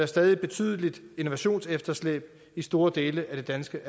stadig et betydeligt innovationsefterslæb i store dele af det danske